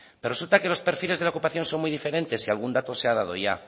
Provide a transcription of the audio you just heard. pero resulta que los perfiles de la ocupación son muy diferentes y algún dato se ha dado ya